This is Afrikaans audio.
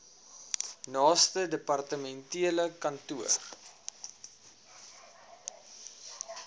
naaste departementele kantoor